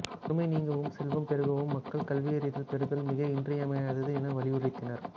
வறுமை நீங்கவும் செல்வம் பெருகவும் மக்கள் கல்வி அறிவு பெறுதல் மிக இன்றியமையாதது என வலியுறுத்தினார்